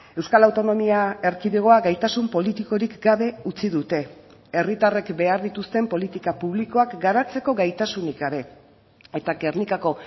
euskal autonomia erkidegoa gaitasun politikorik gabe utzi dute herritarrek behar dituzten politika publikoak garatzeko gaitasunik gabe eta gernikako